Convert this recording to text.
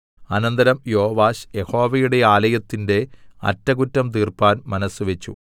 അനന്തരം യോവാശ് യഹോവയുടെ ആലയത്തിന്റെ അറ്റകുറ്റം തീർപ്പാൻ മനസ്സുവെച്ചു